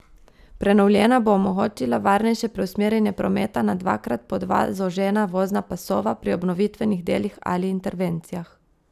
Prenovljena bo omogočila varnejše preusmerjanje prometa na dvakrat po dva zožena vozna pasova pri obnovitvenih delih ali intervencijah.